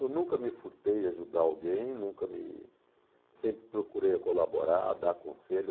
Eu nunca me furtei em ajudar alguém, nunca me... Sempre procurei colaborar, dar conselho.